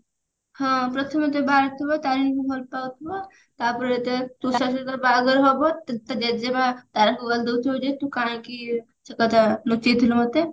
ହଁ ପ୍ରଥମେ ପ୍ରଥମେ ବାହାରିଥିବ ତାରେଣୀ କୁ ଭଲ ପାଉଥିବ ତାପରେ ତୁଷାର ସହିତ ଯେତେବେଳେ ବାହାଘର ହବ ତା ଜେଜେମାଆ ତାରାକୁ ଗାଳି ଦଉଥିବ ଯେ ତୁ କାହିଁକି ସେ କଥା ଲୁଚେଇଥିଲୁ ମୋତେ